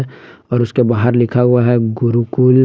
और उसके बाहर लिखा हुआ है गुरुकुल--